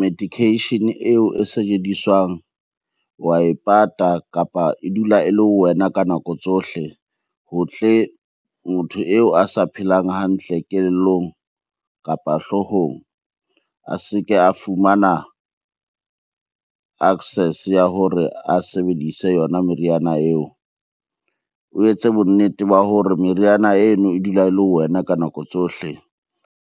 medication eo e sebediswang wa e pata, kapa e dula e le ho wena ka nako tsohle ho tle motho eo a sa phelang hantle kelellong kapa hloohong a se ke a fumana access ya hore a sebedise yona meriana eo. O etse bonnete ba hore meriana eno e dula e le ho wena ka nako tsohle.